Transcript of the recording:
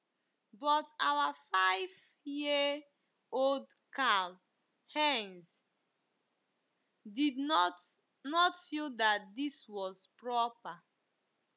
But our five - year - old Karl - Heinz did not not feel that this was proper.